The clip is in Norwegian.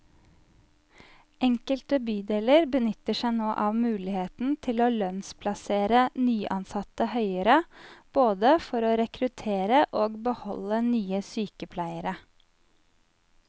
Enkelte bydeler benytter seg nå av muligheten til å lønnsplassere nyansatte høyere, både for å rekruttere og beholde nye sykepleiere.